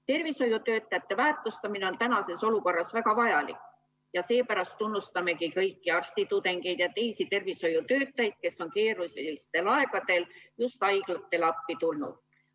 Tervishoiutöötajate väärtustamine on praeguses olukorras väga vajalik ja seepärast tunnustamegi kõiki arstitudengeid ja teisi tervishoiu valdkonna inimesi, kes on keerulistel aegadel just haiglatele appi tulnud.